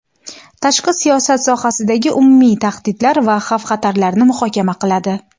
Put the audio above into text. tashqi siyosat sohasidagi umumiy tahdidlar va xavf-xatarlarni muhokama qiladi.